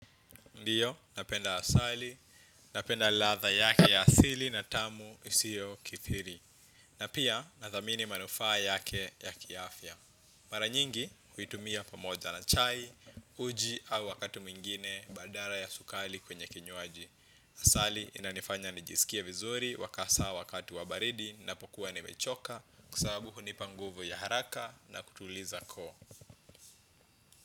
Ndiyo, napenda asali, napenda latha yake ya asili na tamu isio kithiri. Na pia, nathamini manufaa yake ya kiafya. Mara nyingi, huitumia pamoja na chai, uji au wakati mwingine, badala ya sukali kwenye kinywaji. Asali, inanifanya nijisikie vizuri hasa wakati wa baridi napokuwa nemechoka kwa sababu hunipa nguvu ya haraka na kutuliza koo.